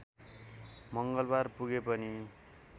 मङ्गलबार पुगे पनि